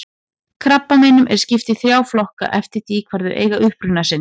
Krabbameinum er skipt í þrjá flokka eftir því hvar þau eiga uppruna sinn.